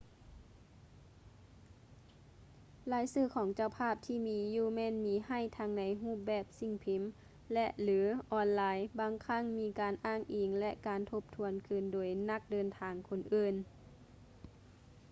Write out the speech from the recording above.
ລາຍຊື່ຂອງເຈົ້າພາບທີ່ມີຢູ່ແມ່ນມີໃຫ້ທັງໃນຮູບແບບສິ່ງພິມ ແລະ/ຫຼື ອອນລາຍ ບາງຄັ້ງມີການອ້າງອິງ ແລະ ການທົບທວນຄືນໂດຍນັກເດີນທາງຄົນອື່ນ